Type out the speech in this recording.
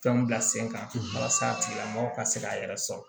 Fɛnw bila sen kan a tigilamɔgɔ ka se k'a yɛrɛ sɔrɔ